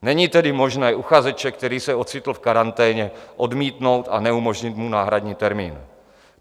Není tedy možné uchazeče, který se ocitl v karanténě, odmítnout a neumožnit mu náhradní termín.